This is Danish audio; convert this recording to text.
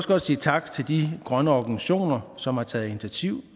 godt sige tak til de grønne organisationer som har taget initiativ